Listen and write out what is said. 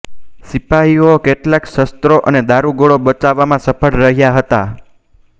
સિપાહીઓ કેટલાક શસ્ત્રો અને દારુગોળો બચાવવામાં સફળ રહ્યા હતા